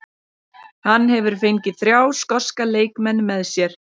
Hann hefur fengið þrjá skoska leikmenn með sér.